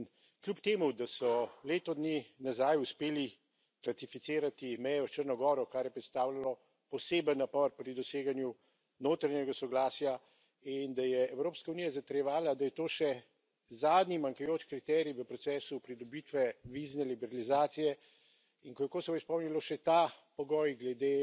In kljub temu, da so leto dni nazaj uspeli ratificirati mejo s Črno goro, kar je predstavljalo poseben napor pri doseganju notranjega soglasja, in da je Evropska unija zatrjevala, da je to še zadnji manjkajoči kriterij v procesu pridobitve vizne liberalizacije, in ko je Kosovo izpolnilo še ta pogoj glede